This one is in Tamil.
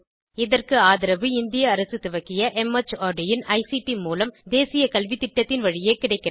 இதற்கு ஆதரவு இந்திய அரசு துவக்கிய மார்ட் இன் ஐசிடி மூலம் தேசிய கல்வித்திட்டத்தின் வழியே கிடைக்கிறது